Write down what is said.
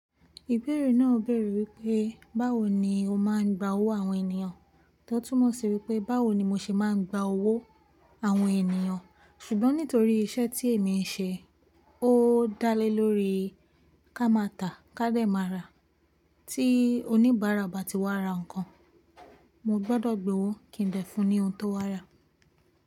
Ìbéèrè náà béèrè wípé báwo ni ó máa ń gba owó àwọn ènìyàn? Tó túmọ̀ sí wípé báwo ni mo ṣe máa ń gba owó àwọn ènìyàn. Ṣùgbọ́n nítorí iṣẹ́ tí èmi ń ṣe, ó dálé lórí ká má ta ká dé má ra. Tí oníbàárà bá ti wá ra nǹkan, mo gbọ́dọ̀ gbowó kí n dè fún ní ohun tó wá rà.